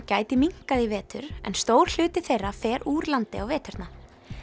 gæti minnkað í vetur en stór hluti þeirra fer úr landi á veturna